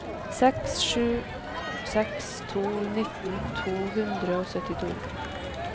seks sju seks to nitten to hundre og syttito